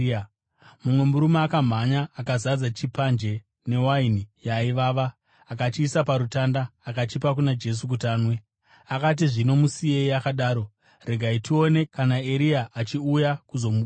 Mumwe murume akamhanya, akazadza chipanje newaini yaivava, akachiisa parutanda, akachipa kuna Jesu kuti anwe, akati “Zvino musiyei akadaro. Regai tione kana Eria achiuya kuzomuburutsa.”